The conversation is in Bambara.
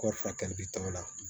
Kɔri furakɛli bɛ t'o la